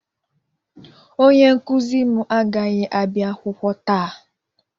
Onye nkuzi m agaghị abịa akwụkwọ taa